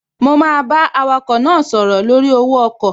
Mo máa bá awakọ̀ náà sọ̀rọ̀ lórí owó ọkọ̀